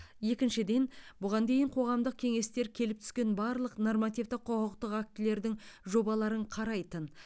екіншіден бұған дейін қоғамдық кеңестер келіп түскен барлық нормативтік құқықтық актілердің жобаларын қарайтын